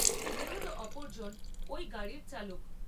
নিহত অপরজন ওই গাড়ির চালক।